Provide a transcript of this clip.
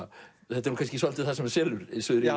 þetta er kannski svolítið það sem selur